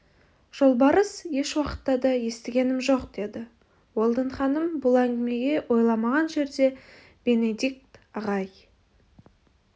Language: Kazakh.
жолбарыс еш уақытта да естігенім жоқ деді уэлдон ханым бұл әңгімеге ойламаған жерде бенедикт ағай